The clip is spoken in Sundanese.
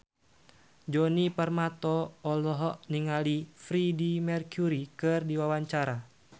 Djoni Permato olohok ningali Freedie Mercury keur diwawancara